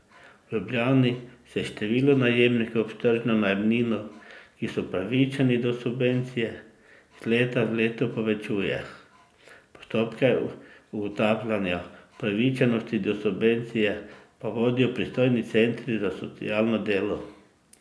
V Ljubljani se število najemnikov s tržno najemnino, ki so upravičeni do subvencije, iz leta v leto povečuje, postopke ugotavljanja upravičenosti do subvencije pa vodijo pristojni centri za socialno delo.